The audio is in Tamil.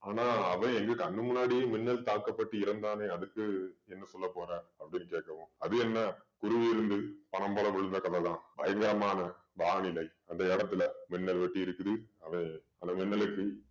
ஆனா அவன் எங்க கண்ணு முன்னாடியே மின்னல் தாக்கப்பட்டு இறந்தானே அதுக்கு என்ன சொல்ல போற அப்படீன்னு கேக்கவும். அது என்ன பனம்பழம் விழுந்த கதை தான். பயங்கரமான வானிலை அந்த இடத்துல மின்னல் வெட்டி இருக்குது. அவன் அந்த மின்னலுக்கு